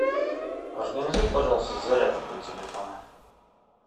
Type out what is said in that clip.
организуй пожалуйста зарядку для телефона